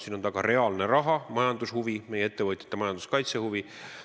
Siin on taga reaalne raha, majandushuvi, meie ettevõtjate majanduskaitsehuvi.